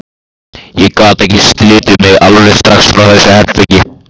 Ég gat ekki slitið mig alveg strax frá þessu herbergi.